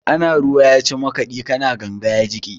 Ana ruwa ya ci makaɗi, ka na ganga ya jiƙe.